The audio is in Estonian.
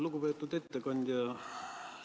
Lugupeetud ettekandja!